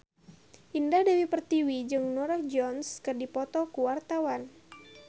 Indah Dewi Pertiwi jeung Norah Jones keur dipoto ku wartawan